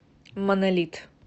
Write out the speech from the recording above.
монолит